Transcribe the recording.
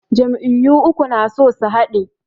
Jam'iyyu uku na so su haɗe.